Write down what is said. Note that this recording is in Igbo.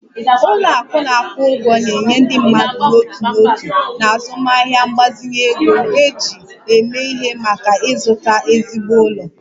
Ụlọ akụ na-akwụ ụgwọ na-enye ndị mmadụ n'otu n'otu na azụmaahịa mgbazinye ego eji eme ihe maka ịzụta ezigbo ụlọ